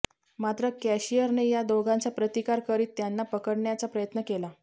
मात्र कॅशिअरने या दोघांचा प्रतिकार करीत त्यांना पकडण्याचा प्रयत्न केला